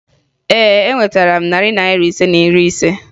Ee, enwetara m narị Naira ise na iri ise